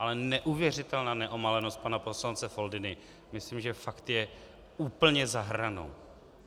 Ale neuvěřitelná neomalenost pana poslance Foldyny, myslím, že fakt je úplně za hranou.